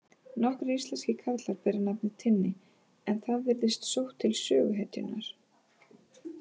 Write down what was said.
Nokkrir íslenskir karlar bera nafnið Tinni en það virðist sótt til söguhetjunnar.